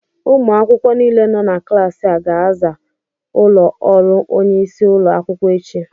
ụmụ akwụkwọ niile nọ na klaasị a ga-aza ụlọ ọrụ onye isi ụlọ akwụkwọ echi